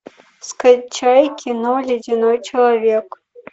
скачай кино ледяной человек